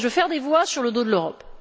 des voix sur le dos de l'Europe.